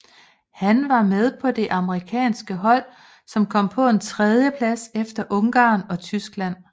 Han var med på det amerikanske hold som kom på en tredjeplads efter Ungarn og Tyskland